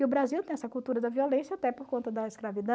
E o Brasil tem essa cultura da violência até por conta da